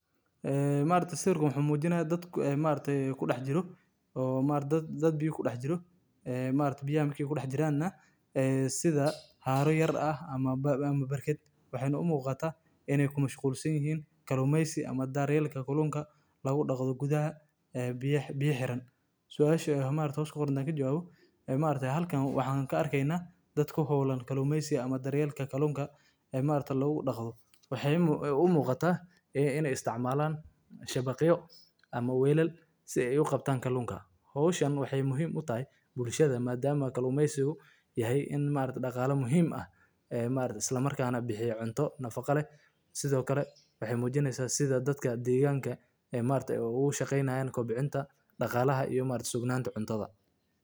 Balliyadu waa meelaha biyaha ku kaydsan yihiin oo guud ahaan ka yar balliyada waaweyn sida harooyinka iyo webiyada, waxayna door muhiim ah ka ciyaaraan deegaanka iyo nolosha noolaha. Balliyada waxaa laga helaa meelo badan oo dhulka ah, waxaana biyaha ku jira ay noqon karaan kuwo ceeriin, kuwo macaan, ama kuwo milix leh iyadoo ku xiran meesha ay ku yaallaan. Balliyadu waxay yihiin hoy iyo goob taran ee noocyo kala duwan oo xayawaanno ah sida kalluunka, shinbiraha biyaha ku nool, cayayaanka, iyo dhirta biyaha jecel.